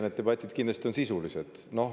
Need debatid on kindlasti sisulised.